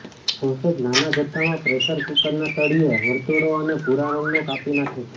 sausage નાના જથ્થામાં pressure કૂકરના તળિયે વર્તુળો અને ભૂરા રંગનો કાપી નાખે છે